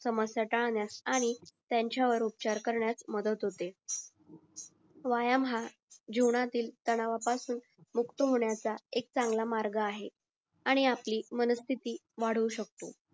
समस्या टाळण्यास आणि त्यांच्यावर उपचार करण्यास मदत होते व्यायाम हा जीवनातील तणाव पासून मुक्त होण्याचा एक चांगला मार्गे आहे आणि आपली मानसिथिवाढवूशक्लो असतो